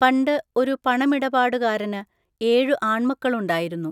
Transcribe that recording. പണ്ട് ഒരു പണമിടപാടുകാരന് ഏഴു ആൺമക്കളുണ്ടായിരുന്നു.